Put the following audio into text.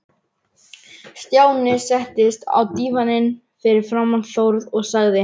Stjáni settist á dívaninn fyrir framan Þórð og sagði